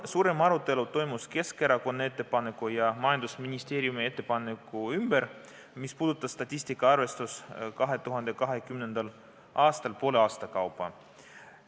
Suurem arutelu toimus Keskerakonna ettepaneku üle ja majandusministeeriumi selle ettepaneku üle, mis puudutas statistika arvestust 2020. aastal poole aasta kaupa.